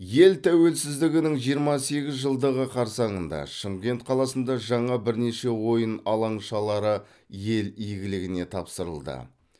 ел тәуелсіздігінің жиырма сегіз жылдығы қарсаңында шымкент қаласында жаңа бірнеше ойын алаңшалары ел игіліне тапсырылды